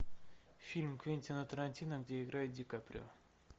фильм квентина тарантино где играет ди каприо